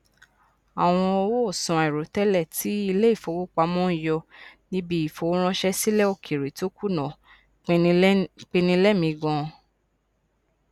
àwọn owóòsan àìròtẹlẹ tí ilé ìfowópamọ n yọ níbi ìfowóránṣẹ sílẹ òkèèrè tó kùnà pinni lẹmìí ganan